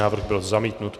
Návrh byl zamítnut.